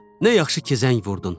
Nə yaxşı ki, zəng vurdun.